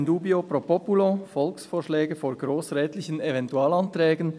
In dubio pro populo: Volksvorschläge vor grossrätlichen Eventualanträgen